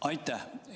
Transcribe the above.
Aitäh!